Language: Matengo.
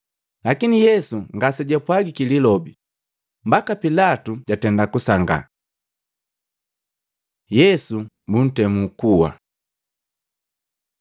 Lakini Yesu ngasejapwagiki lilobe, mbaki Pilatu jasangii. Yesu buntemu kuwa Matei 27:15-26; Luka 23:13-25; Yohana 18:39-19:16